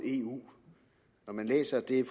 eu når man læser det